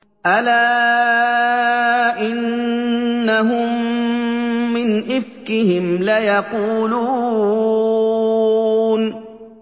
أَلَا إِنَّهُم مِّنْ إِفْكِهِمْ لَيَقُولُونَ